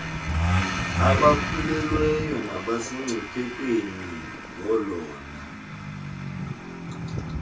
abakhulelweyo nabasemngciphekweni ngolona